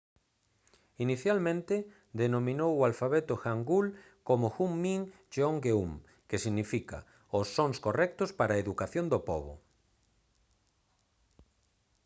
inicialmente denominou o alfabeto hangeul como hunmin jeongeum que significa os sons correctos para a educación do pobo